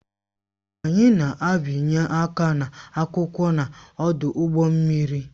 Anyị na-abịanye aka n'akwụkwọ n'ọdụ ụgbọ mmiri